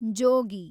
ಜೋಗಿ